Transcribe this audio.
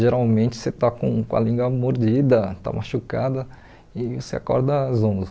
Geralmente você está com com a língua mordida, está machucada e você acorda zonzo.